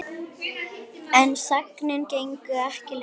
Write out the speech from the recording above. En sagnir gengu ekki lengra.